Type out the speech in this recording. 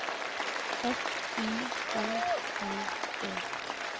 F I N N E